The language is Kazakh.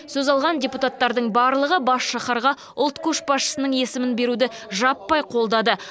сөз алған депутаттардың барлығы бас шаһарға ұлт көшбасшысының есімін беруді жаппай қолдады